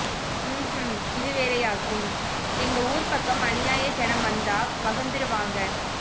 ம்க்கூம் இது வேறயாக்கும் எங்க ஊர் பக்கம் அந்நிய ஜனம் வந்தா வகுந்துருவாங்க